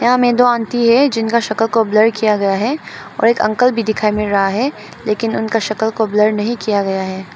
सामने दो अंटी है जिनका शकल को ब्लर किया गया है और एक अंकल भी दिखाई मिल रहा है लेकिन उनका शकल को ब्लर नहीं किया गया है।